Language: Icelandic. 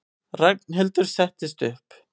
Ragnhildur settist upp.